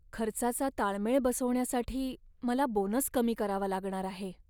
खर्चाचा ताळमेळ बसवण्यासाठी मला बोनस कमी करावा लागणार आहे.